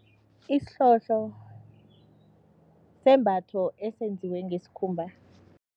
Isihlohlo sisembatho esenziwe ngesikhumba.